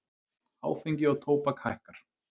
Áfengi og tóbak hækkar